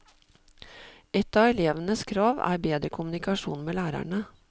Ett av elevenes krav er bedre kommunikasjon med lærerne.